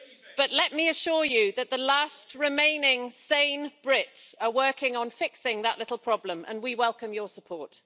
But let me assure you that the last remaining sane Brits are working on fixing that little problem, and we welcome your support.